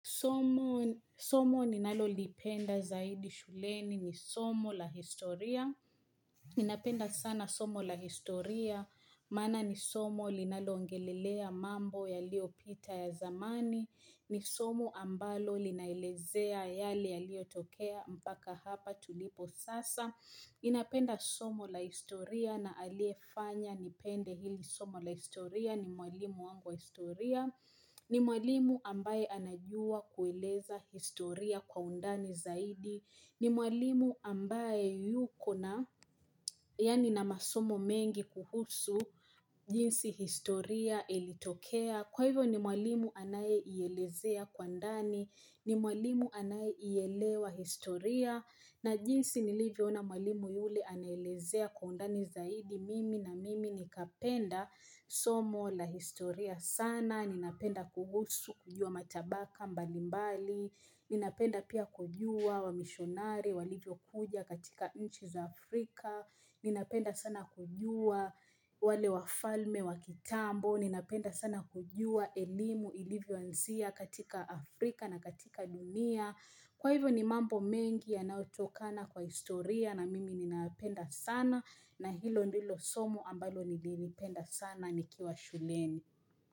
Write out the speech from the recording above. Somo ninalolipenda zaidi shuleni ni somo la historia. Ninapenda sana somo la historia. Maana ni somo linaloongelelea mambo yaliyopita ya zamani. Ni somo ambalo linaelezea yale yaliyotokea mpaka hapa tulipo sasa. Ninapenda somo la historia na aliyefanya nipende hili somo la historia ni mwalimu wangu wa historia. Ni mwalimu ambaye anajua kueleza historia kwa undani zaidi ni mwalimu ambaye yuko na yaani na masomo mengi kuhusu jinsi historia ilitokea Kwa hivyo ni mwalimu anayeielezea kwa ndani ni mwalimu anayeielewa historia na jinsi nilivyoona mwalimu yule anaelezea kwa undani zaidi Mimi na mimi nikapenda somo la historia sana Ninapenda kuhusu kujua matabaka mbalimbali Ninapenda pia kujua wamishonari walivyokuja katika nchi za Afrika Ninapenda sana kujua wale wafalme wa kitambo Ninapenda sana kujua elimu ilivyoanzia katika Afrika na katika dunia Kwa hivyo ni mambo mengi yanayotokana kwa historia na mimi ninayapenda sana na hilo ndilo somo ambalo nililipenda sana nikiwa shuleni.